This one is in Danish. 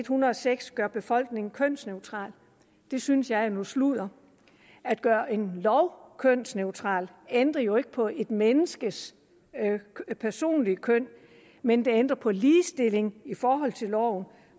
hundrede og seks gør befolkningen kønsneutral det synes jeg er noget sludder at gøre en lov kønsneutral ændrer jo ikke på et menneskes personlige køn men det ændrer på ligestilling i forhold til loven